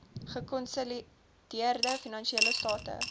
gekonsolideerde finansiële state